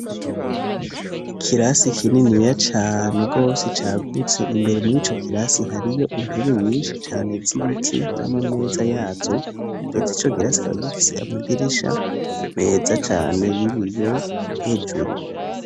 Ikirasi kinini ya cane gose cagutse, imbere muri ico kirasi hariyo intebe nyinshi cane z'ibiti, n'amameza yazo, ndetse ico kirasi kikaba gifise amadirisha meza cane y'ibiyo hejuru.